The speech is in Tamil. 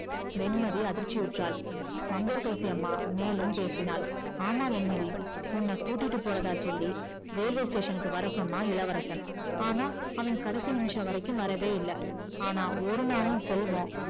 வெண்மதி அதிர்ச்சி உட்ரால் மங்கையகரசி அம்மா மேலும் பேசினால் ஆமா வெண்மதி உன்ன கூட்டிட்டு போறதா சொல்லி railway க்கு வர சொன்னா இளவரசன் ஆனா அவ கடைசி நிமிஷம் வரைக்கும் வரவே இல்ல ஆனா ஒருநாளும் செல்வம்